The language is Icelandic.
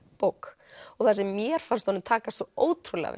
bók og það sem mér fannst honum takast svo ótrúlega